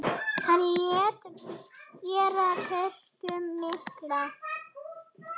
Hann lét gera kirkju mikla.